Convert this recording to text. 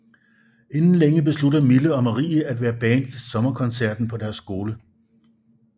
Inden længe beslutter Mille og Marie at være band til sommerkoncerten på deres skole